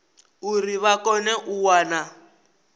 uri vha kone u wana